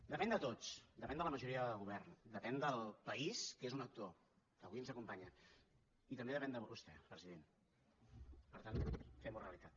depèn de tots depèn de la majoria de govern depèn del país que és un actor que avui ens acompanya i també depèn de vostè president per tant femho realitat